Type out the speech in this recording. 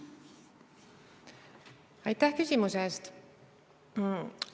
Aitäh küsimuse eest!